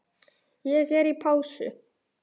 Ég er í pásu.